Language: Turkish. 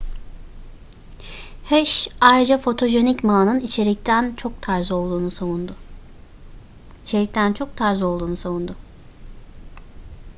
hsieh ayrıca fotojenik ma'nın içerikten çok tarz olduğunu savundu